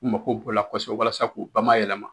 U mako b'u la kosɛbɛ walasa k'u bamayɛlɛma.